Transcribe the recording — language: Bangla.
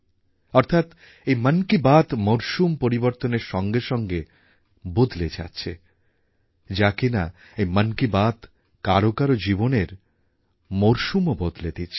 অর্থাৎ এই মন কি বাত মরশুম পরিবর্তনের সঙ্গে সঙ্গে বদলে যাচ্ছে যা কিনা এই মন কি বাত কারও কারও জীবনের মরশুমও বদলে দিচ্ছে